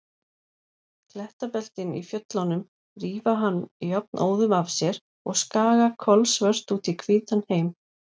Klettabeltin í fjöllunum rífa hann jafnóðum af sér og skaga kolsvört út í hvítan heim.